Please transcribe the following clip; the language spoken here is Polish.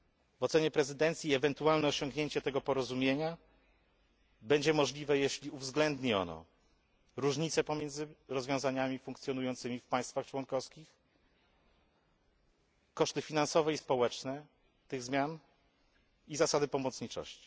W ocenie prezydencji ewentualne osiągnięcie tego porozumienia będzie możliwe, jeśli uwzględni ono różnice pomiędzy rozwiązaniami funkcjonującymi w państwach członkowskich, koszty finansowe i społeczne tych zmian i zasadę pomocniczości.